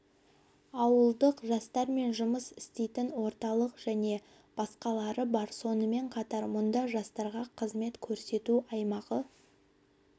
ауылдық жастармен жұмыс істейтін орталық және басқалары бар сонымен қатар мұнда жастарға қызмет көрсету аймағы